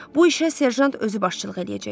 Bu işə Serjant özü başçılıq eləyəcəkdi.